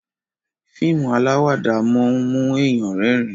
fíìmù alawada món mu èyán rérìn.